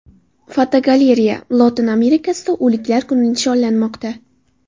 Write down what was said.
Fotogalereya: Lotin Amerikasida O‘liklar kuni nishonlanmoqda.